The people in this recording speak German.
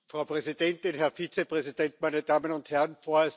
Frau Präsidentin, Herr Vizepräsident, meine Damen und Herren!